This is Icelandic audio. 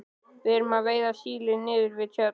Við erum að veiða síli niður við Tjörn.